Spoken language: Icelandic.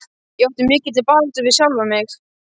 Ég átti í mikilli baráttu við sjálfan mig.